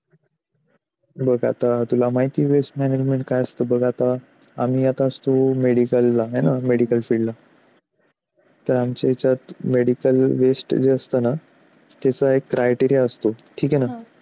मग आता तुला माहिती waste management काय असतं बघ आता आम्ही येत असतो medical ला medical पडला waste जास्त ना त्याचा एक criteria असतो